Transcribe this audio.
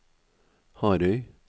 Harøy